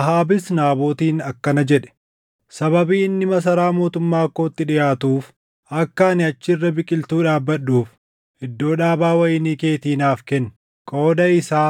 Ahaabis Naabotiin akkana jedhe; “Sababii inni masaraa mootummaa kootti dhiʼaatuuf akka ani achi irra biqiltuu dhaabbadhuuf iddoo dhaabaa wayinii keetii naaf kenni. Qooda isaa